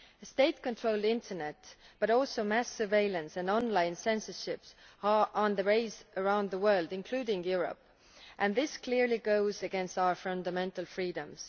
State controlled internet, but also mass surveillance and online censorship are on the rise around the world, including in Europe, and this clearly goes against our fundamental freedoms.